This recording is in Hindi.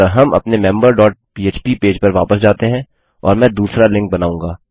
अतः हम अपने मेंबर डॉट पह्प पेज पर वापस जाते हैं और मैं दूसरा लिंक बनाऊँगा